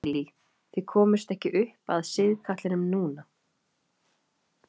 Lillý: Þið komust ekki upp að sigkatlinum núna?